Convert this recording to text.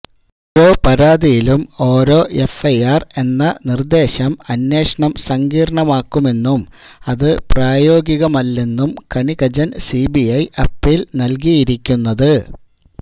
ഒരോ പരാതിയിലും ഓരോ എഫ്ഐആര് എന്ന നിർദേശം അന്വേഷണം സങ്കീർണമാക്കുമെന്നും അത് പ്രായോഗികമല്ലെന്നും കണികചൻ സിബിഐ അപ്പീൽ നൽകിയിരിക്കുന്നത്